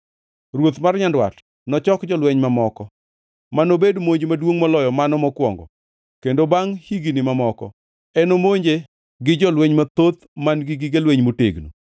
Ruoth mar Nyandwat nochok jolweny mamoko, ma nobed monj maduongʼ moloyo mano mokwongo; kendo bangʼ higni mamoko, enomonje gi jolweny mathoth man-gi gige lweny motegno.